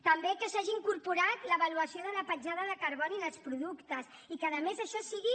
també que s’hagi incorporat l’avaluació de la petjada de carboni en els productes i que a més això sigui